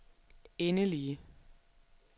endelige